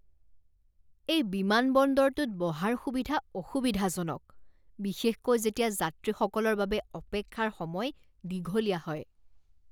এই বিমানবন্দৰটোত বহাৰ সুবিধা অসুবিধাজনক, বিশেষকৈ যেতিয়া যাত্ৰীসকলৰ বাবে অপেক্ষাৰ সময় দীঘলীয়া হয়।